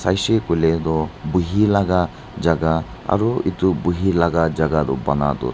huishe kuile toh buhilaga jagah aru itu buhilaga jagah toh bana toh.